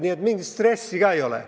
Nii et mingit stressi ei ole.